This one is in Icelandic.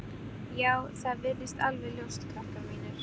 Já, það virðist alveg ljóst, krakkar mínir.